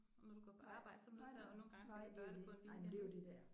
Når du går på arbejde så er du nødt til og nogle gange skal du gøre det på en weekend ik